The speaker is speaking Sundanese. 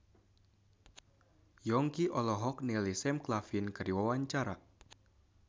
Yongki olohok ningali Sam Claflin keur diwawancara